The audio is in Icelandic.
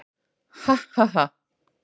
"""Ha, ha, ha!"""